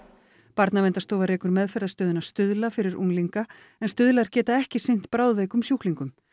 Barnaverndarstofa rekur meðferðarstöðina Stuðla fyrir unglinga en Stuðlar geta ekki sinnt bráðveikum sjúklingum